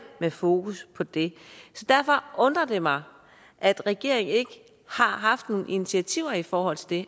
har fokus på det derfor undrer det mig at regeringen ikke har haft nogle initiativer i forhold til det